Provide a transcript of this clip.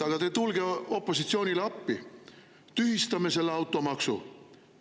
Tulge opositsioonile appi, tühistame selle automaksu!